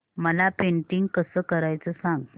मला पेंटिंग कसं करायचं सांग